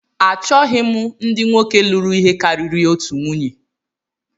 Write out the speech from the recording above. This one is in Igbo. Achọghị m ndị nwoke lụrụ ihe karịrị otu nwunye